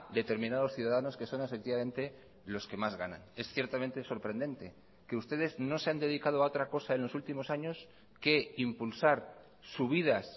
determinados ciudadanos que son efectivamente los que más ganan es ciertamente sorprendente que ustedes no se han dedicado a otra cosa en los últimos años que impulsar subidas